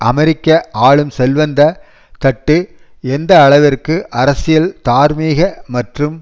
அமெரிக்க ஆளும் செல்வந்த தட்டு எந்த அளவிற்கு அரசியல் தார்மீக மற்றும்